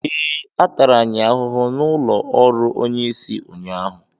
Ee, a tara anyị ahụhụ n’ụlọ ọrụ onye isi ụnyaahụ